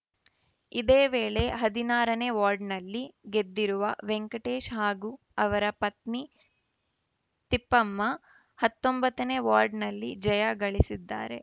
ಇದೇವೇಳೆ ಹದಿನಾರನೇ ವಾರ್ಡ್‌ನಲ್ಲಿ ಗೆದ್ದಿರುವ ವೆಂಕಟೇಶ್‌ ಹಾಗೂ ಹಾಗೂ ಅವರ ಪತ್ನಿ ತಿಪ್ಪಮ್ಮ ಹತ್ತೊಂಬತ್ತನೇ ವಾರ್ಡಿನಲ್ಲಿ ಜಯ ಗಳಿಸಿದ್ದಾರೆ